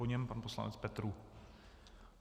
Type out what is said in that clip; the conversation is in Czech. Po něm pan poslanec Petrů.